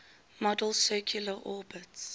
model's circular orbits